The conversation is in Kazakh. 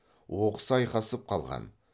оқыс айқасып қалған